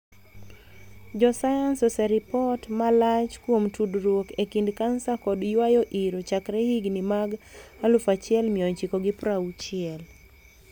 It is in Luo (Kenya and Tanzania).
Jo sayans oseripot malach kuom tudruok e kind kansa kod yuayo iro chakre higni mag 1960s.